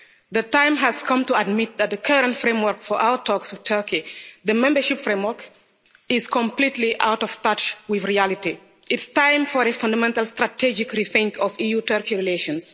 The time has come to admit that the current framework for our talks with Turkey, the membership framework, is completely out of touch with reality. It's time for a fundamental strategic rethink of EU-Turkey relations.